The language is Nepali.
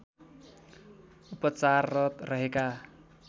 उपचाररत रहेका